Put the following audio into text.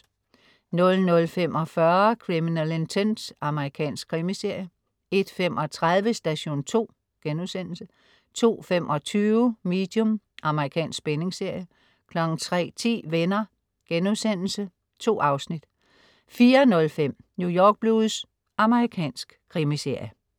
00.45 Criminal Intent. Amerikansk krimiserie 01.35 Station 2* 02.25 Medium. Amerikansk spændingsserie 03.10 Venner.* 2 afsnit 04.05 New York Blues. Amerikansk krimiserie